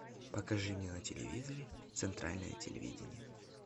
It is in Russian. покажи мне на телевизоре центральное телевидение